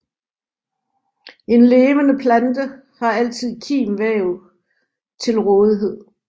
En levende plante har altid kimvæv til rådighed